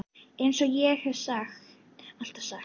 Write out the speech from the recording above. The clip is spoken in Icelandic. Eins og ég hef alltaf sagt.